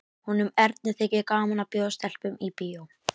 Honum Erni þykir gaman að bjóða stelpum í bíó.